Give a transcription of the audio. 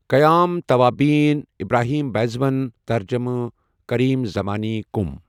قیام توابین، Ibrahim Beydoun, ترجمہ کریم زمانی، قم